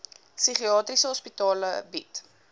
psigiatriese hospitale bied